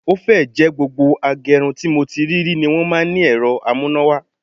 Ó fẹ́ẹ̀ jẹ́ gbogbo agẹrun tí mo ti rí rí ni wọ́n ní ẹ̀rọ amúnáwá